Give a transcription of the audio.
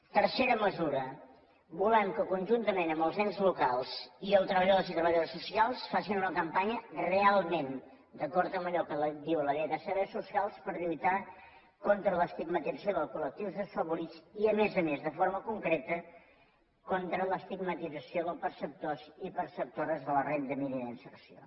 tercera mesura volem que conjuntament amb els ens locals i els treballadors i treballadores socials facin una campanya realment d’acord amb allò que diu la llei de serveis socials per lluitar contra l’estigmatització dels col·lectius desafavorits i a més a més de forma concreta contra l’estigmatització dels perceptors i perceptores de la renda mínima d’inserció